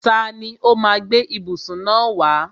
Tani ó má a gbé ìbùsùn náà wá?